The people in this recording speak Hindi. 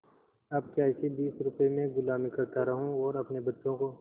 अब क्या इसी बीस रुपये में गुलामी करता रहूँ और अपने बच्चों को